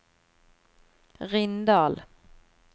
Rindal